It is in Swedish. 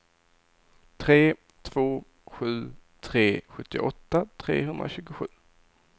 tre två sju tre sjuttioåtta trehundratjugosju